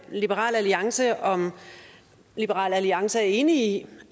liberal alliance om liberal alliance er enig i